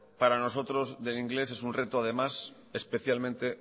para nosotros del inglés es un reto además especialmente